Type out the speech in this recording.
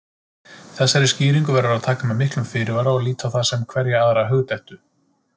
Þessari skýringu verður að taka með miklum fyrirvara og líta á sem hverja aðra hugdettu.